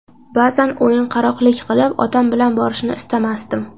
Ba’zan o‘yinqaroqlik qilib, otam bilan borishni istamasdim.